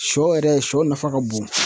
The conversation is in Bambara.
Sɔ yɛrɛ sɔ nafa ka bon